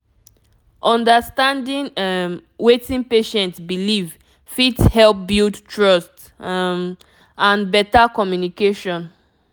understanding um wetin patient believe fit help build trust um and better communication